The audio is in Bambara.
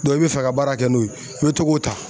i bi fɛ ka baara kɛ n'o ye i bi to k'o ta.